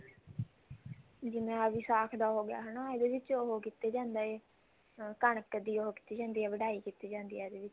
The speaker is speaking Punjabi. ਜਿਵੇਂ ਆਹ ਵਿਸਾਖ ਦਾ ਹੋਗਿਆ ਹਨਾ ਇਹਦੇ ਵਿੱਚ ਉਹ ਕੀਤਾ ਜਾਂਦਾ ਹੈ ਕਣਕ ਦੀ ਉਹ ਕੀਤੀ ਜਾਂਦੀ ਹੈ ਵਡਾਈ ਕੀਤੀ ਜਾਂਦੀ ਹੈ ਇਹਦੇ ਵਿੱਚ